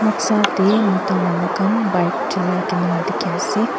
noksa teh mota manu khan bike chulia kena dikhi ase.